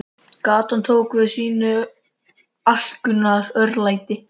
Gatan tók við af sínu alkunna örlæti.